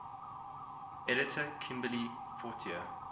editor kimberly fortier